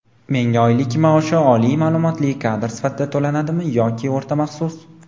Menga oylik maoshi oliy maʼlumotli kadr sifatida to‘lanadimi yoki o‘rta maxsus?.